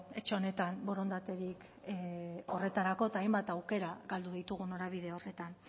etxe honetan borondaterik horretarako eta hainbat aukera galdu ditugu norabide horretan